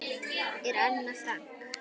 Ég er Anna Frank.